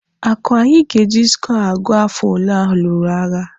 Akwa anyị ga-eji skọọ agụ afọ ole alụrụ agha?